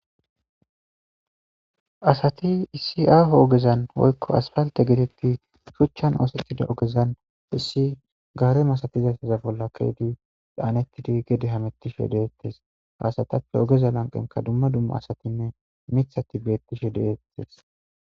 Asati iisi aaho ogezan woykko aspalte gedekki shuchchan oosetida ogezan hissi gaare masatizaysaza bolla keedu daanetidi gede hamettishe deettes haasatappe ogeza lanqenka dumma dumma asatinne mithati beettishe deettes.